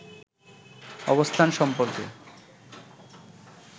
অবস্থান সম্পর্কে